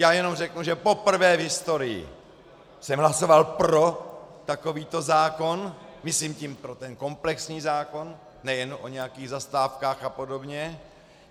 Já jenom řeknu, že poprvé v historii jsem hlasoval pro takovýto zákon, myslím tím pro ten komplexní zákon, nejen o nějakých zastávkách a podobně.